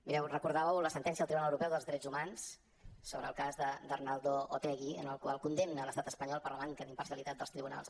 mireu recordàveu la sentència del tribunal europeu dels drets humans sobre el cas d’arnaldo otegi en la qual es condemna l’estat espanyol per la manca d’imparcialitat dels tribunals